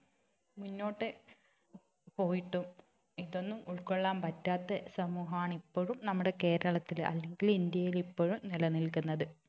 മുന്നോട്ടു പോയിട്ടും ഇതൊന്നും ഉൾക്കൊള്ളാൻ പറ്റാത്ത സമൂഹമാണ് ഇപ്പോഴും നമ്മുടെ കേരളത്തില് അല്ലെങ്കിൽ ഇന്ത്യയിൽ ഇപ്പോഴും നിലനിൽക്കുന്നത്